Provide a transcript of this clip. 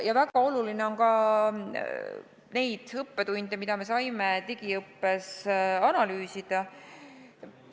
Ja väga oluline on ka neid õppetunde, mis me saime digiõppes, analüüsida.